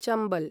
Chambal